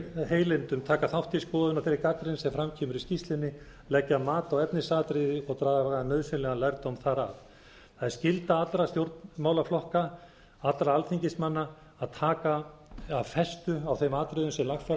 heilindum taka þátt í skoðun á þeirri gagnrýni sem fram kemur í skýrslunni leggja mat á efnisatriði og draga nauðsynlegan lærdóm þar af það er skylda allra stjórnmálaflokka allra alþingismanna að taka af festu á þeim atriðum sem lagfæra